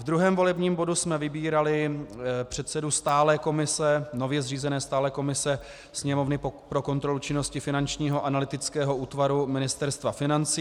V druhém volebním bodu jsme vybírali předsedu nově zřízené stálé komise Sněmovny pro kontrolu činnosti Finančního analytického útvaru Ministerstva financí.